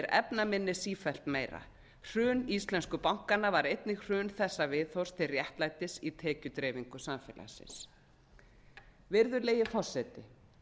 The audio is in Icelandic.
efnaminni sífellt meira hrun íslensku bankanna var einnig hrun þessa viðhorfs til réttlætis í tekjudreifingu samfélagsins virðulegi forseti